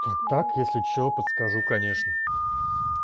так так если что подскажу конечно